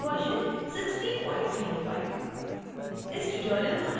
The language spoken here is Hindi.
और koha version 1605